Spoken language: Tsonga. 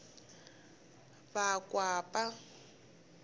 vakwapa